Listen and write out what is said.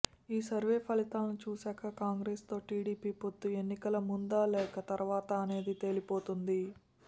ఈ సర్వే ఫలితాలు చూసాక కాంగ్రెస్ తో టీడీపీ పొత్తు ఎన్నికల ముందా లేక తరువాతా అనేది తేలిపోతుంది